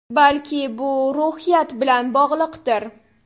Balki bu ruhiyat bilan bog‘liqdir.